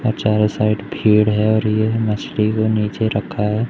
और चारों साइड भीड़ है और यह मछली को नीचे रखा है।